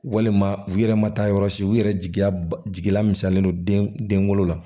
Walima u yɛrɛ ma taa yɔrɔ si u yɛrɛ jigiya ba jigila misɛnnen don den kolo la